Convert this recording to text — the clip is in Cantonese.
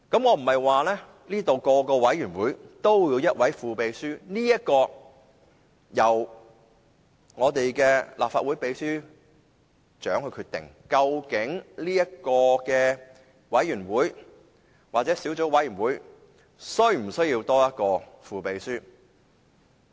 我不是說每個委員會也要有一位副秘書，這一點由立法會秘書長決定，究竟某委員會或小組委員會是否需要一名副秘書。